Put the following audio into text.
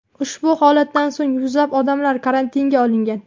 Ushbu holatdan so‘ng yuzlab odamlar karantinga olingan.